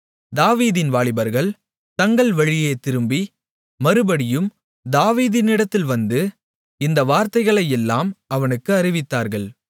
தாவீதின் வாலிபர்கள் தங்கள் வழியே திரும்பி மறுபடியும் தாவீதினிடத்தில் வந்து இந்த வார்த்தைகளையெல்லாம் அவனுக்கு அறிவித்தார்கள்